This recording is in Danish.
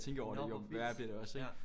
Nå hvor vildt ja